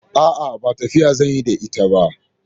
A'a, ba tafiya zan yi da ita ba.